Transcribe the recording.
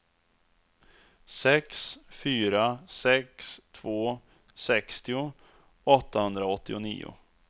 sex fyra sex två sextio åttahundraåttionio